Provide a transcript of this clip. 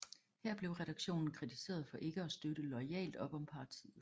Her blev redaktionen kritiseret for ikke at støtte loyalt op om partiet